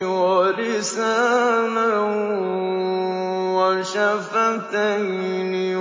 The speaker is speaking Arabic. وَلِسَانًا وَشَفَتَيْنِ